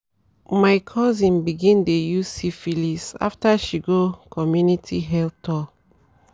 my cousin begin dey use syphilis after she go community health tal